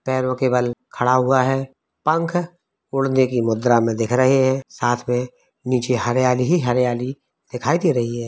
पैरों के बल खड़ा हुआ है। पंखा उड़ने की मुद्रा में दिख रहे हैं साथ में नीचे हरियाली ही हरियाली दिखाई दे रही है।